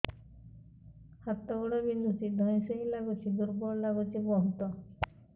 ହାତ ଗୋଡ ବିନ୍ଧୁଛି ଧଇଁସଇଁ ଲାଗୁଚି ଦୁର୍ବଳ ଲାଗୁଚି ବହୁତ